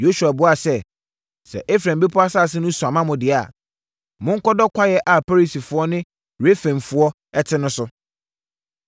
Yosua buaa sɛ, “Sɛ Efraim bepɔ asase no sua ma mo dea, monkɔdɔ kwaeɛ a Perisifoɔ ne Refaimfoɔ te so no.”